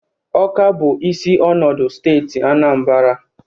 Ọka bụ isi ọnọdụ steeti Anambara.